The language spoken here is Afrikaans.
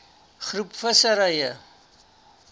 groep visserye